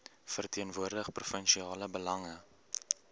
verteenwoordig provinsiale belange